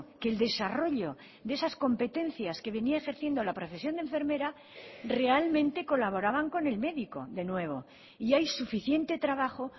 que el desarrollo de esas competencias que venía ejerciendo la profesión de enfermera realmente colaboraban con el médico de nuevo y hay suficiente trabajo